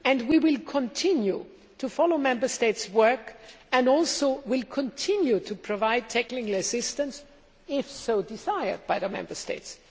And we will continue to follow Member States' work and will also continue to provide technical assistance if desired by the Member States.